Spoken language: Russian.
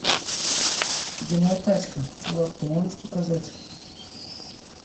где моя тачка чувак ты можешь показать